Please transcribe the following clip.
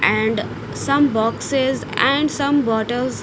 And some boxes and some waters.